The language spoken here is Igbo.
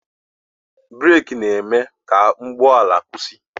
breeki na-e mee ka ụgbọala kwụsị